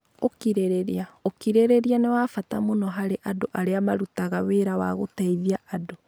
Ũkirĩrĩria: Ũkirĩrĩria nĩ wa bata mũno harĩ andũ arĩa marutaga wĩra wa gũteithia andũ.